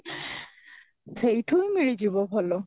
ସେଇଠୁ ମିଳିଯିବ ଭଲ